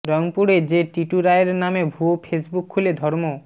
রংপুরে যে টিটু রায়ের নামে ভুয়া ফেসবুক খুলে ধর্ম